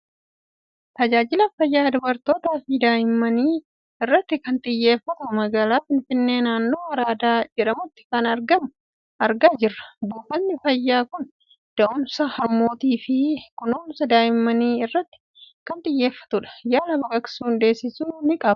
Tajaajila fayyaa dubartootaa fi daa'imman irratti kan xiyyeeffatu, magaalaa Finfinnee naannoo Araadaa jedhamutti kan argamu argaa jirra. Buufatni fayyaa kun da'umsa harmootii fi kunuunsa daa'immanii irratti kan xiyyeeffatudha. Yaalaa baqaqsuun deessisuu ni qaba.